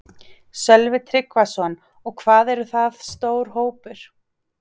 Sölvi Tryggvason: Og hvað er það stór hópur?